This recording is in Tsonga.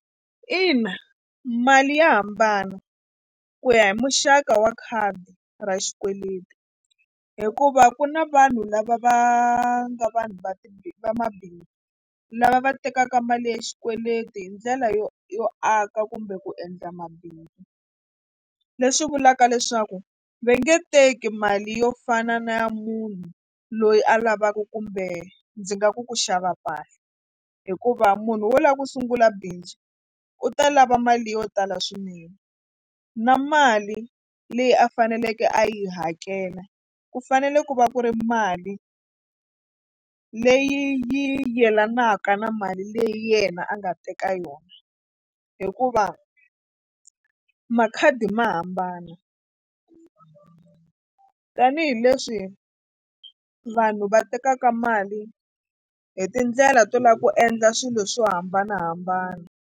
Ina mali ya hambana ku ya hi muxaka wa khadi ra xikweleti hikuva ku na vanhu lava va nga vanhu va va mabindzu lava va tekaka mali ya xikweleti hi ndlela yo yo aka kumbe ku endla mabindzu leswi vulaka leswaku va nge teki mali yo fana na munhu loyi a lavaku kumbe ndzi nga ku ku xava mpahla hikuva munhu wo lava ku sungula bindzu u ta lava mali yo tala swinene na mali leyi a faneleke a yi hakela ku fanele ku va ku ri mali leyi yo yelanaka na mali leyi yena a nga teka yona hikuva makhadi ma hambana tanihileswi vanhu va tekaka mali hi tindlela to lava ku endla swilo swo hambanahambana.